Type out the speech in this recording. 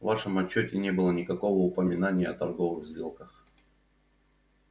в вашем отчёте не было никакого упоминания о торговых сделках